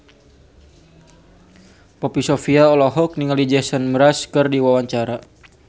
Poppy Sovia olohok ningali Jason Mraz keur diwawancara